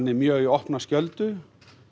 mjög í opna skjöldu